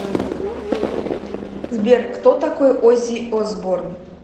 сбер кто такой оззи осборн